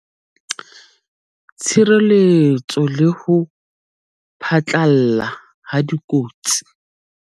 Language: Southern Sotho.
TSHIRELETSO LE HO PHATLALLA HA DIKOTSI.